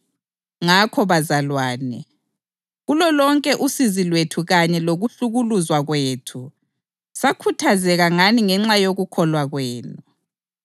Ngakho bazalwane, kulolonke usizi lwethu kanye lokuhlukuluzwa kwethu, sakhuthazeka ngani ngenxa yokukholwa kwenu.